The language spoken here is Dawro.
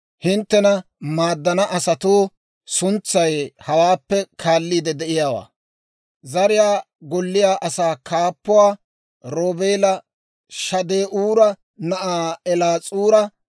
Hinttena maaddana asatuu suntsay hawaappe kaalliide de'iyaawaa: Zariyaa Golliyaa Asaa Kaappuwaa Roobeela Shade'uura na'aa Eliis'uura,